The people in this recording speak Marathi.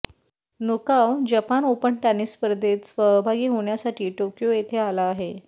नोकाव जपान ओपन टेनिस स्पर्धेत सहभागी होण्यासाठी टोक्यो येथे आला आहे